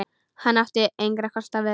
Hann átti engra kosta völ.